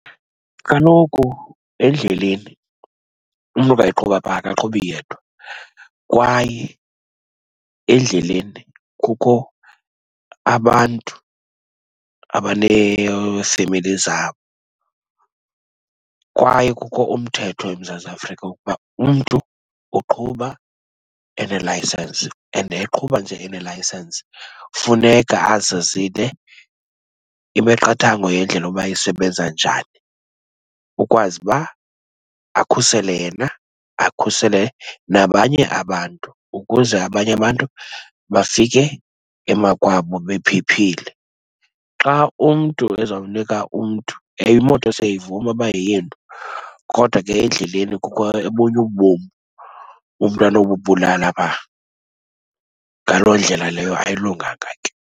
Kaloku endleleni umntu xa eqhuba pha akaqhubi yedwa, kwaye endleleni kukho abantu abaneefemeli zabo, kwaye kukho umthetho eMzantsi Afrika wokuba umntu uqhuba enelayisensi and eqhuba nje enelayisensi funeka azazile imiqathango yendlela uba isebenza njani. Ukwazi uba akhusele yena, akhusele nabanye abantu ukuze abanye abantu bafike emakwabo bephephile. Xa umntu ezawunika umntu, ewe imoto siyavuma uba yeyenu, kodwa ke endleleni kukho obunye ubom umntu anobubulala phaa. Ngaloo ndlela leyo ayilunganga ke.